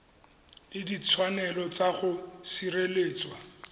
le ditshwanelo tsa go sireletswa